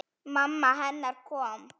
Mamma hennar komin.